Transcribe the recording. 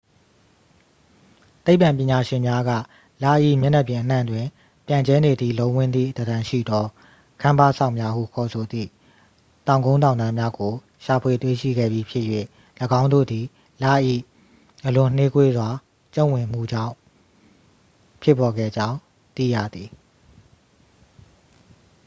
သိပ္ပံပညာရှင်များက လ၏ မျက်နှာပြင်အနှံ့တွင် ပြန့်ကျဲနေသည့် လုံးဝန်းသည့်သဏ္ဍန်ရှိသော ကမ်းပါးစောက်များဟုခေါ်သည့် တောင်ကုန်းတောင်တန်းများကို ရှာဖွေတွေ့ရှိခဲ့ပြီးဖြစ်၍ ၎င်းတို့သည် လ၏ အလွန်နှေးကွေးစွာ ကျုံ့ဝင်မှုကြောင်း ဖြစ်ပေါ်ခဲ့ကြောင်း သိရသည်